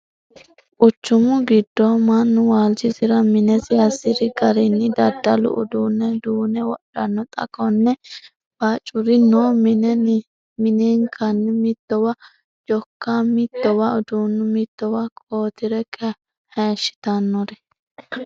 Quchumu giddo mannu waalchisira minesi hasiri garinni daddalu uduune duune wodhano ,xa konne bacuri no mine minekkanni mitowa jokka, mittowa uduunu, mittowa koatre hayishittanori.